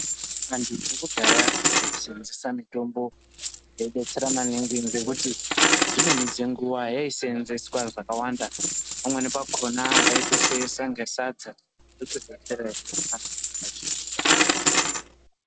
Antu ekudhaya ayi senzesa mitombo ino detsera maningi ngekuti dzimweni dze nguva yaisenzeswa zvakawanda pamweni pakona vaito seesa ne sadza voto detsereka va chidya.